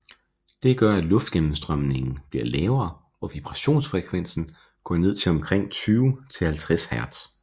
Det gør at luftgennemstrømningen bliver lavere og vibrationsfrekvensen går ned til omkring 20 til 50 hertz